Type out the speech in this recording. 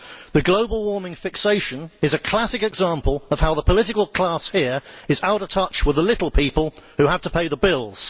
The global warming fixation is a classic example of how the political class here is out of touch with the little people who have to pay the bills.